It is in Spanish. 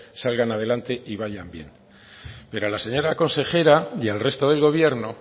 salgan adelante y vayan bien pero a la señora consejera y el resto del gobierno